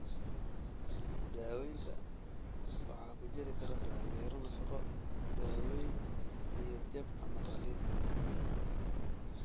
Daawaynta waxaa ku jiri kara taageero nafaqo, daawooyin, niyad jab ama qalliin.